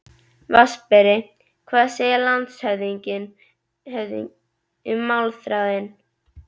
VATNSBERI: Hvað segir landshöfðingi um málþráðinn?